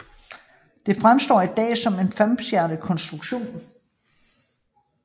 Det fremstår i dag som en femstjernet konstruktion